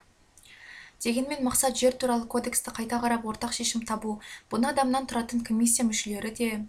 дегенмен мақсат жер туралы кодексті қайта қарап ортақ шешім табу бұны адамнан тұратын комиссия мүшелері де